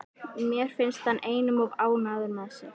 Mér finnst hann einum of ánægður með sig.